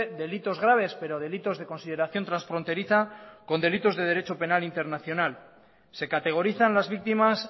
delitos graves pero delitos de consideración transfronteriza con delitos de derecho penal internacional se categorizan las víctimas